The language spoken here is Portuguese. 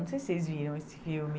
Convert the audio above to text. Não sei se vocês viram esse filme.